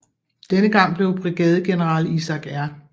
Denne gang blev brigadegeneral Isaac R